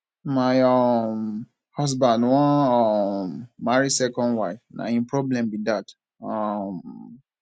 my um husband wan um marry second wife na him problem be dat um